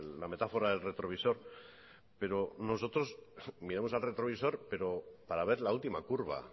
la metáfora del retrovisor pero nosotros miramos al retrovisor para ver la última curva